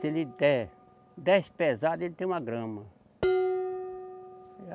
Se ele der dez pesadas, ele tem uma grama.